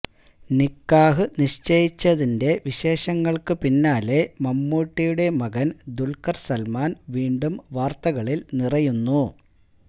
നിക്കാഹ് നിശ്ചയിച്ചതിന്റെ വിശേഷങ്ങള്ക്ക് പിന്നാലെ മമ്മൂട്ടിയുടെ മകന് ദുല്ഖര് സല്മാന് വീണ്ടും വാര്ത്തകളില് നിറയുന്നു